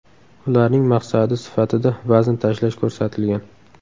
Ularning maqsadi sifatida vazn tashlash ko‘rsatilgan.